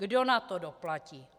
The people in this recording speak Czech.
Kdo na to doplatí?